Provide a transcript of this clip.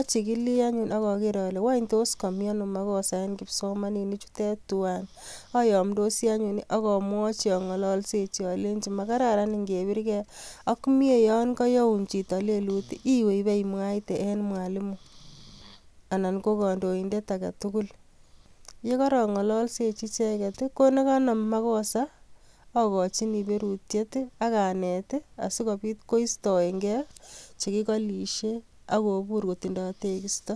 ,achigili enyun akager wanby tos kamyeno makosa en kipsomaninik chutet twan ayamdosi enyun akamwachi AK angalanchi atepsechi Kole makararan ngebir geiak Mie yangayaun Chito lelut iwe iwemwate en Mwalimu anan ko kandoindetaketugul yigarangalalshechi icheken ,ko nikabamu makosa akachini beruriet akanet sikobit koistaengeichekikalishiej akobur kotindo tekisto